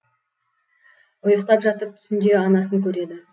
ұйықтап жатып түсінде анасын көреді